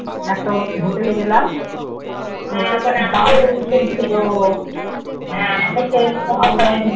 একটা hotel এ গেলাম